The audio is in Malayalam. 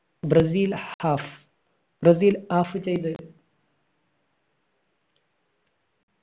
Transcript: ബ്രസീല് half ബ്രസീല് half ചെയ്തു